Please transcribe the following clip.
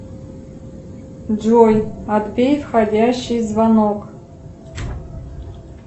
джой отбей входящий звонок